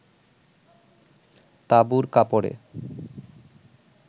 তাঁবুর কাপড়ে